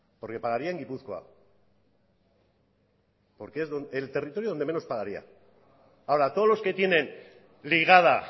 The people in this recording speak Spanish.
porque pagaría en gipuzkoa porque es el territorio donde menos pagaría ahora todos los que tienen ligada